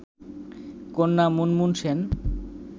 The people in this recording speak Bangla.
কন্যা মুনমুন সেন